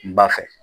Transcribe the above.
N ba fɛ